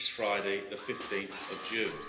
this Friday, 15 June.